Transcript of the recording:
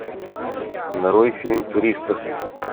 нарой фильм туристас